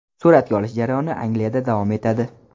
Suratga olish jarayoni Angliyada davom etadi.